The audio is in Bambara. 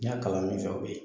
N y'a kalan min fɛ o bɛ yen